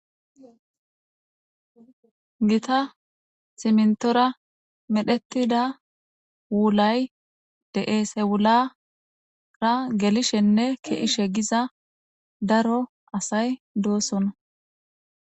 gita simntora medhetida wulay de'es hewulara gelishenne keishe giza daro asay doosona